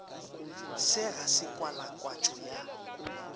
se ga se kwalakwatšo ya